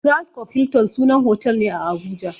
Transcorp Hilton sunan hotel ne a Abuja.